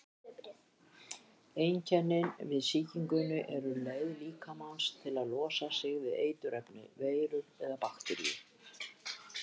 Einkennin við sýkingunni eru leið líkamans til að losa sig við eiturefni, veirur eða bakteríur.